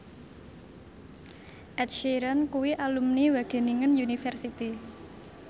Ed Sheeran kuwi alumni Wageningen University